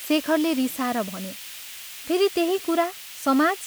शेखरले रिसाएर भन्यो, "फेरि त्यही कुरा समाज!